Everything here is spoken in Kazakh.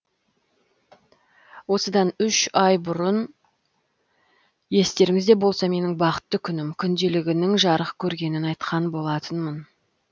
осыдан үш ай бұрын естеріңізде болса менің бақытты күнім күнделігінің жарық көргенін айтқан болатынмын